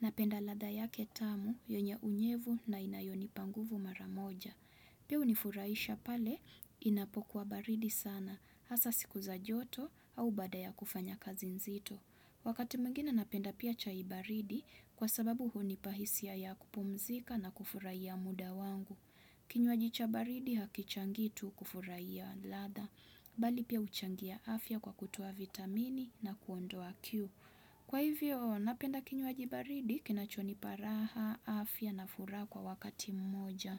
Napenda ladha yake tamu, yenye unyevu na inayonipa nguvu mara moja. Pia hunifurahisha pale inapokuwa baridi sana hasa siku za joto au baada ya kufanya kazi nzito. Wakati mwingine napenda pia chai baridi kwa sababu hunipa hisia ya kupumzika na kufurahia muda wangu. Kinywaji cha baridi hakichangi tu kufurahia ladha. Bali pia huchangia afya kwa kutoa vitamini na kuondoa kiu kwa hivyo napenda kinywaji baridi kinachonipa raha afya na furaha kwa wakati mmoja.